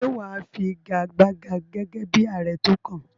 Ṣé wà á figagbága gẹ́gẹ́ bí ààrẹ tó kàn?